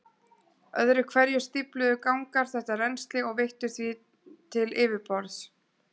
Öðru hverju stífluðu gangar þetta rennsli og veittu því til yfirborðs.